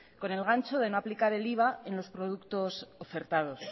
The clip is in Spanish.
con el gancho de no aplicar el iva en los productos ofertados